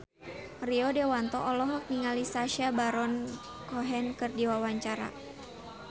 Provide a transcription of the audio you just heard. Rio Dewanto olohok ningali Sacha Baron Cohen keur diwawancara